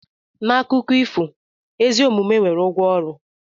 N'akụkọ ifo, ezi omume nwere ụgwọ ọrụ.